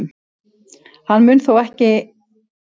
Hann mun þó leika næstu þrjá leiki með Val.